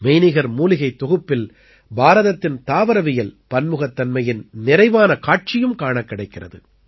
மெய்நிகர் மூலிகைத் தொகுப்பில் பாரதத்தின் தாவரவியல் பன்முகத்தன்மையின் நிறைவான காட்சியும் காணக் கிடைக்கிறது